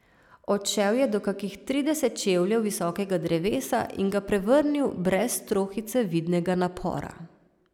Odšel je do kakih trideset čevljev visokega drevesa in ga prevrnil brez trohice vidnega napora.